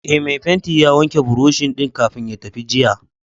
Ee, mai fenti ya wanke buroshi din kafin ya tafi jiya.